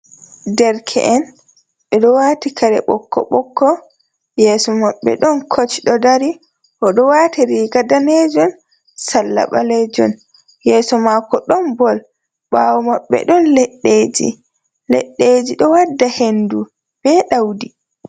Derke’en ɓeɗo wati kare ɓoƙko-boƙko yeso maɓɓe ɗon coach oɗo dari oɗo wati riga danejum sallaba ɓalejum, yeso mako ɗon ball ɓawo maɓɓe ɗon leeji leɗɗeji ɗo wadda hendu be ɗaudi.